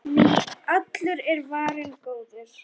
Því allur er varinn góður.